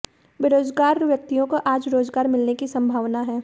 बेरोजगार व्यक्तियों को आज रोजगार मिलने की सम्भावना है